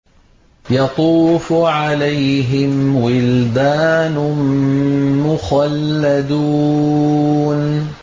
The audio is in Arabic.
يَطُوفُ عَلَيْهِمْ وِلْدَانٌ مُّخَلَّدُونَ